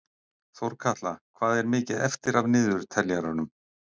Þórkatla, hvað er mikið eftir af niðurteljaranum?